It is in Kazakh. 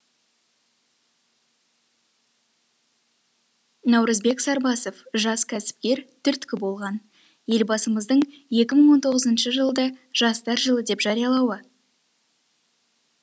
наурызбек сарбасов жас кәсіпкер түрткі болған елбасымыздың екі мың он тоғызыншы жылды жастар жылы деп жариялауы